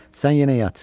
Sən yenə yat.